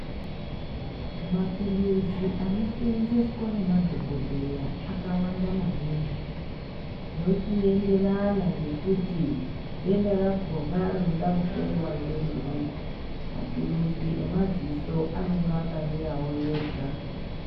Maturuzi anosevenzeswa nemadhokodheya akawanda maningi zvochienderana ngekuti denda rakona rinoda kuhloiwa nderiri maturuzi emadziso anenge akamirawo ega.